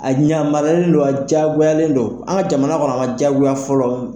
A ɲamariyalen don a jagoyalen don an ka jamana kɔnɔ a ma jayagoya fɔlɔ.